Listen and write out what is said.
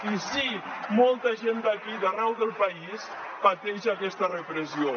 i sí molta gent d’aquí i d’arreu del país pateix aquesta repressió